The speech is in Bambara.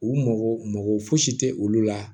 U mago mago fosi tɛ olu la